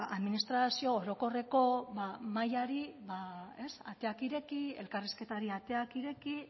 administrazio orokorreko mahaiari ba ateak ireki elkarrizketari ateak ireki